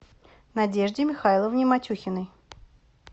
надежде михайловне матюхиной